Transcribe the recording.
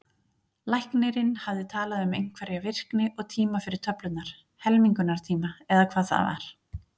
Læknirinn hafði talað um einhverja virkni og tíma fyrir töflurnar, helmingunartíma, eða hvað það var.